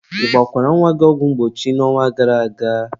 ị gbakwara nwa gị ọgwụ mgbochi n'ọnwa gara aga?